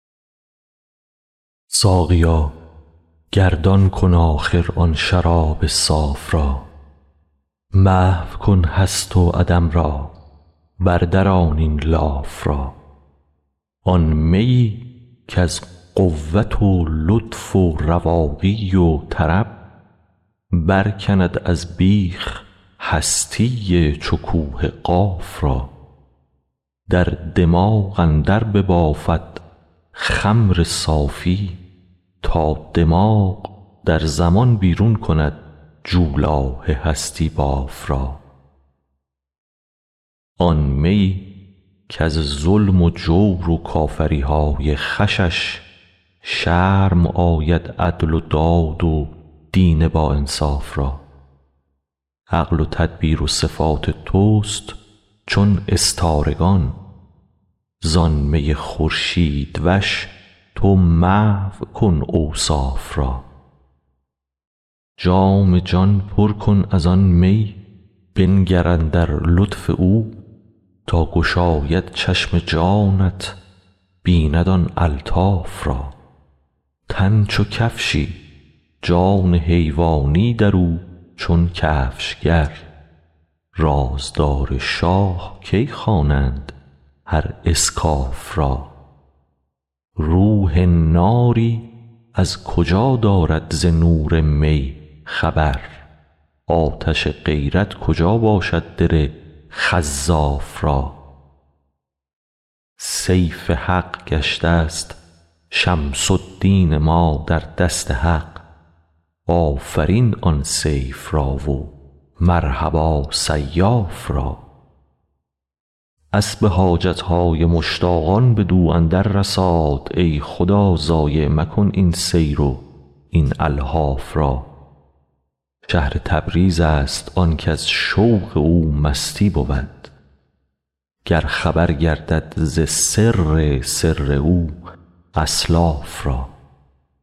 ساقیا گردان کن آخر آن شراب صاف را محو کن هست و عدم را بردران این لاف را آن میی کز قوت و لطف و رواقی و طرب برکند از بیخ هستی چو کوه قاف را در دماغ اندر ببافد خمر صافی تا دماغ در زمان بیرون کند جولاه هستی باف را آن میی کز ظلم و جور و کافری های خوشش شرم آید عدل و داد و دین باانصاف را عقل و تدبیر و صفات تست چون استارگان زان می خورشیدوش تو محو کن اوصاف را جام جان پر کن از آن می بنگر اندر لطف او تا گشاید چشم جانت بیند آن الطاف را تن چو کفشی جان حیوانی در او چون کفشگر رازدار شاه کی خوانند هر اسکاف را روح ناری از کجا دارد ز نور می خبر آتش غیرت کجا باشد دل خزاف را سیف حق گشتست شمس الدین ما در دست حق آفرین آن سیف را و مرحبا سیاف را اسب حاجت های مشتاقان بدو اندر رساد ای خدا ضایع مکن این سیر و این الحاف را شهر تبریزست آنک از شوق او مستی بود گر خبر گردد ز سر سر او اسلاف را